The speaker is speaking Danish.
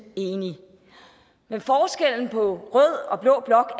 enig men forskellen på rød og blå blok